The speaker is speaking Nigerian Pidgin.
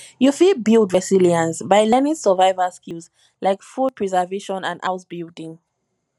you fit build resilience by learning survival skills like food preservation and house building